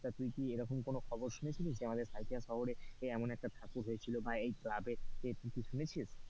তা তুই কি এইরকম কোনো খবর শুনেছিলিস যে আমাদের সাঁইথিয়া শহর এ এমন একটা ঠাকুর হইয়াছিল বা এই club এ,